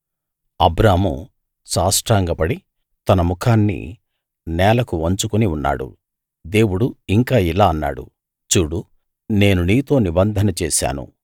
అబ్రాము సాష్టాంగపడి తన ముఖాన్ని నేలకు వంచుకుని ఉన్నాడు దేవుడు ఇంకా ఇలా అన్నాడు చూడు నేను నీతో నిబంధన చేశాను